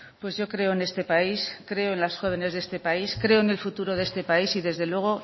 pues yo creo en este país creo en los jóvenes de este país creo en el futuro de este país y desde luego